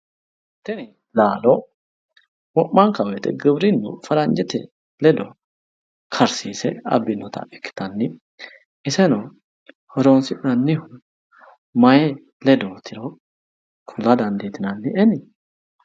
Tini laalo wo'manka woyiite giwirinnu faranjete ledo karsiise abbinota ikkitanni, iseno horoonsi'nannihu mayii ledootiro kula danditinannieni?